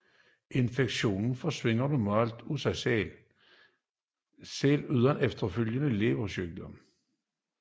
Infektionerne forsvinder normalt af sig selv uden efterfølgende leversygdomme